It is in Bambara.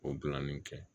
O bilalan nin kɛ